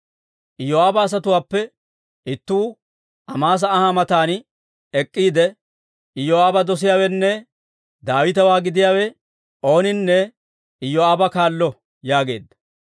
Iyoo'aaba asatuwaappe ittuu Amaasa anha matan ek'k'iide, «Iyoo'aaba dosiyaawenne Daawitewaa gidiyaawe ooninne Iyoo'aaba kaallo» yaageedda.